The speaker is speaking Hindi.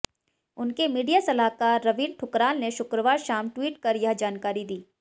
उनके मीडिया सलाहकार रवीन ठुकराल ने शुक्रवार शाम ट्वीट कर यह जानकारी दी